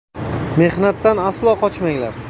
Mehnatdan aslo qochmanglar.